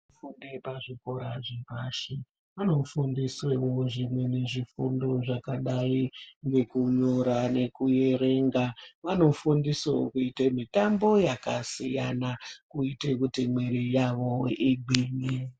Fundo yepa zvikora zvepashi vano fundisewo zvimweni zvifundo zvakadai ngeku nyora neku erenga vanofundisawo kuite mitambo yaka siyana kuite kuti mwiri yavo igwinye.